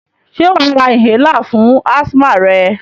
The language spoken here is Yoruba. Sé wàá ra inhaler fún asthma rẹ?